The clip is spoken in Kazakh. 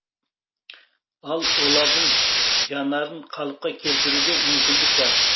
ал олардың жанарын қалыпқа келтіруге мүмкіндік бар